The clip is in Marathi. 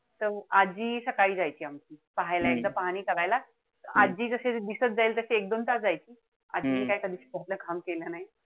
त आजी सकाळी जायची आमची पाहायला पाहणी करायला. आजी जशी दिसत जाईल तशी एक-दोन तास जायची. आजीने असं कधी काई काम केलं नाई